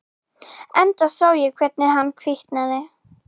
Enda sá ég hvernig hann hvítnaði.